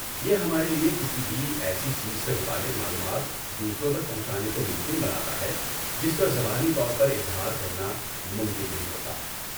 یہ ہمارے لیے کسی بھی ایسی چیز سے متعلق معلومات دوسروں تک پہنچانے کو ممکن بناتا ہے جس کا زبانی طور پر اظہار کرنا ممکن نہیں ہوتا۔